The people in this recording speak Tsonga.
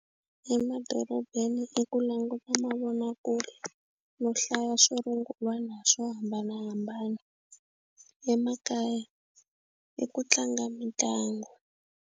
Emadorobeni i ku languta mavonakule no hlaya swo rungula na swo hambanahambana emakaya i ku tlanga mitlangu.